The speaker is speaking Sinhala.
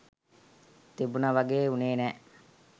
තිබුණ වගේ වුණේ නෑ.